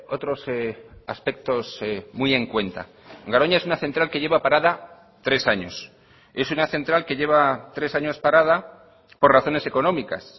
otros aspectos muy en cuenta garoña es una central que lleva parada tres años es una central que lleva tres años parada por razones económicas